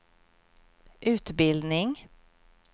utbildning